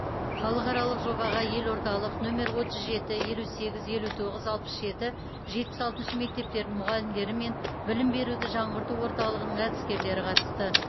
халықаралық жобаға елордалық нөмер отыз жеті елу сегіз елу тоғыз алпыс жеті жетпіс алтыншы мектептерінің мұғалімдері мен білім беруді жаңғырту орталығының әдіскерлері қатысты